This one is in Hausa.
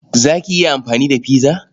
Za ki iya amfani da pizza?